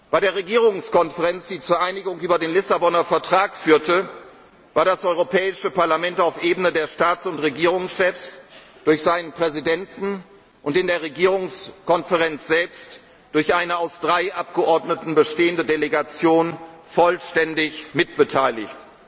teil. Bei der Regierungskonferenz, die zur Einigung über den Lissabonner Vertrag führte, war das Europäische Parlament auf Ebene der Staats und Regierungschefs durch seinen Präsidenten und in der Regierungskonferenz selbst durch eine aus drei Abgeordneten bestehende Delegation vollständig mitbeteiligt.